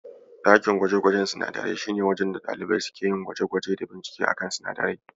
Ɗakin gwaje-gwajen sinadarai shi ne wajen da ɗalibai suke yin gwaje-gwaje da binkice a kan sinadarai.